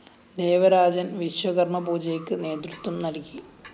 ദേവരാജന്‍ വിശ്വകര്‍മ്മ പൂജയ്ക്ക് നേതൃത്വം നല്‍കി